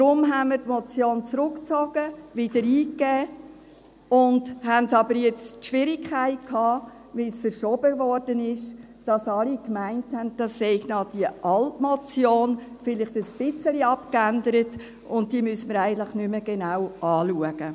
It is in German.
Darum zogen wir die Motion zurück und gaben sie wieder ein, hatten aber nun die Schwierigkeit, weil sie verschoben wurde, dass alle meinten, das sei noch die alte Motion, vielleicht ein bisschen abgeändert, und die müsse man eigentlich nicht mehr genau anschauen.